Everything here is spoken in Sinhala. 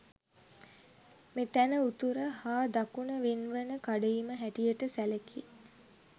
මෙතැන උතුර හා දකුණ වෙන්වන කඩඉම හැටියට සැලකේ.